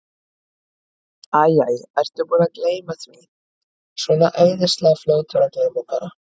Æ, æ, ertu búinn að gleyma því. svona æðislega fljótur að gleyma bara.